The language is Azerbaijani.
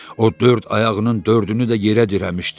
O dörd ayağının dördünü də yerə dirəmişdi.